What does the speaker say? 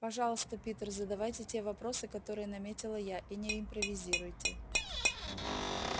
пожалуйста питер задавайте те вопросы которые наметила я и не импровизируйте